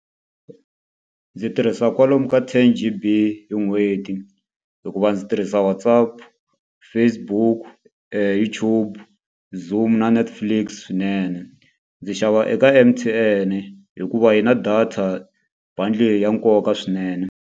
Ndzi tirhisa kwalomu ka ten G_B hi n'hweti hikuva ndzi tirhisa WhatsApp, Facebook, YouTube, Zoom na Netflix swinene. Ndzi xava eka M_T_N hikuva yi na data bundle leyi ya nkoka swinene.